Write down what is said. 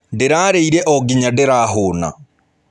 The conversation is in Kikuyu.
Ndĩrarĩire o nginya ndĩrahũũna.